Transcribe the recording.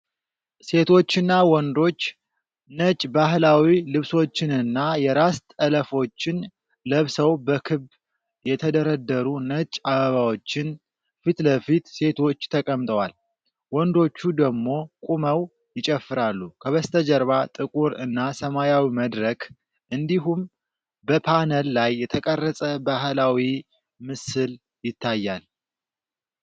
ሴቶችና ወንዶች ነጭ ባህላዊ ልብሶችንና የራስ ጠለፎችን ለብሰው በክብ የተደረደሩ ነጭ አበባዎች ፊት ለፊት ሴቶቹ ተቀምጠዋል፣ ወንዶቹ ደሞ ቁመዉ ይጨፍራሉ። ከበስተጀርባ ጥቁር እና ሰማያዊ መድረክ እንዲሁም በፓነል ላይ የተቀረጸ ባህላዊ ምስል ይታያል።